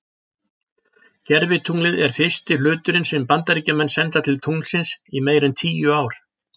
Gervitunglið er fyrsti hluturinn sem að Bandaríkjamenn senda til tunglsins í meira en tíu ár.